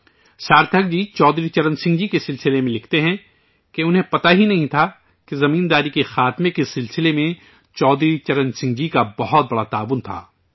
سارتھک جی چودھری چرن سنگھ جی کے بارے میں لکھتے ہیں کہ انہیں معلوم ہی نہیں تھا کہ زمینداری کے خاتمہ کے سلسلے میں چودھری چرن سنگھ جی کا بہت بڑا رول تھا